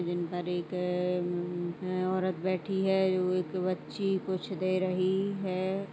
एक औरत बैठी है ऊ एक बच्ची कुछ दे रही है।